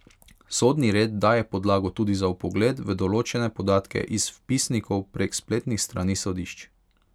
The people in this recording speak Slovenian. Sodni red daje podlago tudi za vpogled v določene podatke iz vpisnikov prek spletnih strani sodišč.